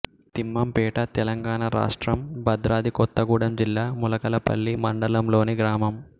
తిమ్మంపేట తెలంగాణ రాష్ట్రం భద్రాద్రి కొత్తగూడెం జిల్లా ములకలపల్లి మండలంలోని గ్రామం